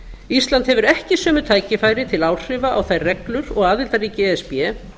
ísland hefur ekki sömu tækifæri til áhrifa á þær reglur og aðildarríki e s b